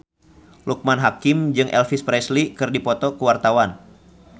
Loekman Hakim jeung Elvis Presley keur dipoto ku wartawan